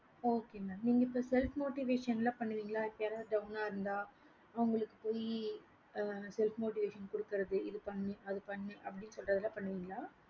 okay mam நீங்க இப்ப self motivation பண்ணுவிங்கள யாரவது down இருந்த அவங்களுக்கு போய் self motivation குடுக்கறது அது பண்ணு அத பண்ணு அப்படின்னு சொள்ளரதலாம் பண்ணுவிங்கள